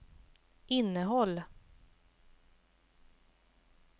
innehåll